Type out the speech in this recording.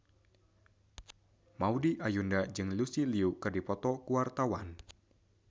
Maudy Ayunda jeung Lucy Liu keur dipoto ku wartawan